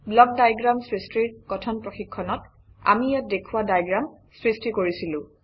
block diagram সৃষ্টিৰ কথন প্ৰশিক্ষণত আমি ইয়াত দেখুওৱা ডায়েগ্ৰাম সৃষ্টি কৰিছিলো